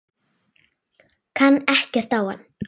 Kann ekkert á hann.